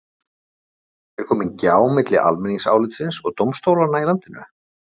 Er komin gjá milli almenningsálitsins og dómstólanna í landinu?